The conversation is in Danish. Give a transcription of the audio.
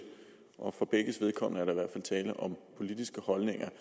og for begges vedkommende er der i tale om politiske holdninger